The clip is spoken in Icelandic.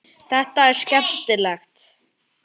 Hún þáði pylsu sem Lúlli bauð henni og var svo horfin.